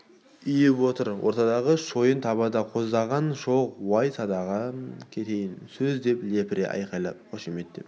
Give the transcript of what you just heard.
ұйып отыр ортадағы шойын табада қоздаған шоқ уай садағаң кетейін сөз деп лепіре айқайлап қошеметтеп